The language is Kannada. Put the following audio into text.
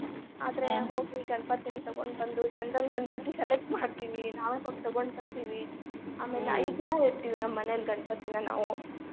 ಹೋಗಿ ಗಣಪತಿನ ತಗೊಂಡ್ ಬಂದು ಚಂದಂದ ಗಣಪತಿ select ಮಾಡ್ತೀವಿ ನಾವೇ ಹೋಗಿ ತಗೊಂಡ್ ಬರ್ತೀವಿ. ದಿನಾ ಇಡ್ತಿವಿ ನಮ್ಮ ಮನೆಯಲ್ಲಿ ಗಣಪತಿನ ನಾವು.